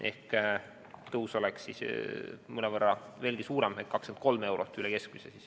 Ehk tõus oleks siis mõnevõrra veelgi suurem, 23 eurot üle keskmise.